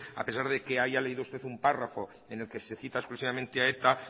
a pesar de que haya leído usted un párrafo en el que se cita exclusivamente a eta